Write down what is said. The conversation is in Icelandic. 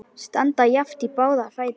Standa jafnt í báða fætur.